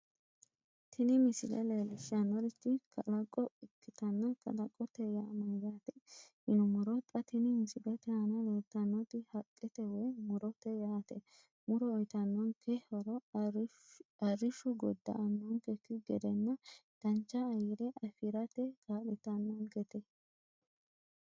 tini misile leellishshannorichi kalaqo ikkitanna kalaqote yaa mayyaate yinummoro xa tini misilete aana leeltannoti haqqete woy murote yaate muro uyiitannonke horo arrishu godda"annonkekki gedenna dancha ayyire afirate kaa'litannonkete.